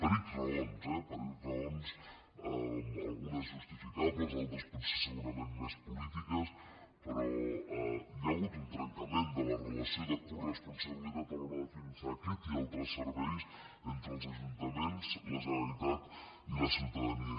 per ics raons eh per ics raons algunes justificables altres potser segurament més polítiques però hi ha hagut un trencament de la relació de coresponsabilitat a l’hora de finançar aquest i altres serveis entre els ajuntaments la generalitat i la ciutadania